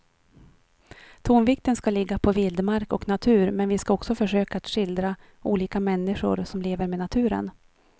Tonvikten ska ligga på vildmark och natur men vi ska också försöka att skildra olika människor som lever med naturen.